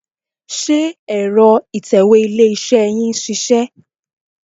Ṣé ẹ̀rọ ìtẹ̀wé ilé-iṣẹ́ yín ń ṣiṣẹ́?